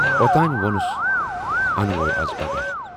اوتانۍ وونُس انوے از پگاہ۔